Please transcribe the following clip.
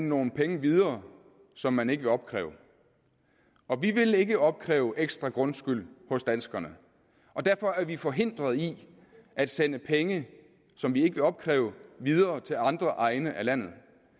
nogle penge videre som man ikke vil opkræve og vi vil ikke opkræve ekstra grundskyld hos danskerne og derfor er vi forhindret i at sende penge som vi ikke vil opkræve videre til andre egne af landet